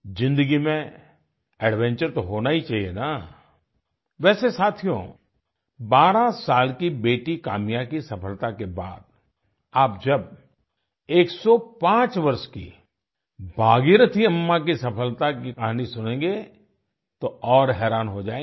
ज़िन्दगी में एडवेंचर तो होना ही चाहिए ना वैसे साथियो बारह साल की बेटी काम्या की सफलता के बाद आप जब 105 वर्ष की भागीरथी अम्मा की सफलता की कहानी सुनेंगे तो और हैरान हो जाएंगे